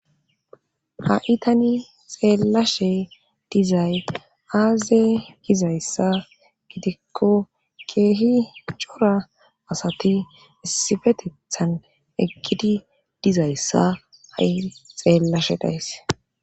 Ha itani xeellashe dizay aazey gizayssa gidikko keehi cora asati essifetethan ekkidi dizayssa ha7i xeellashe dayse.